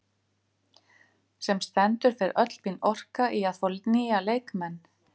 Sem stendur fer öll mín orka í að fá nýja leikmenn.